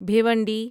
Bhiwandi